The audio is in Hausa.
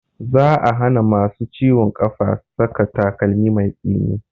Za a hana masu ciwon ƙafa saka takalmi mai tsini